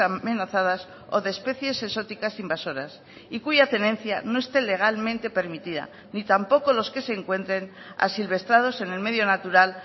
amenazadas o de especies exóticas invasoras y cuya tenencia no esté legalmente permitida ni tampoco los que se encuentren asilvestrados en el medio natural